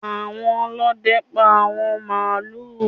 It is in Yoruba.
Àwọn Olóde pá àwọn màálù.